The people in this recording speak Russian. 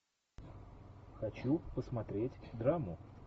хочу посмотреть драму